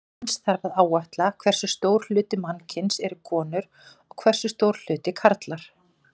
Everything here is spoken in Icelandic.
Eins þarf að áætla hversu stór hluti mannkyns eru konur og hversu stór hluti karlar.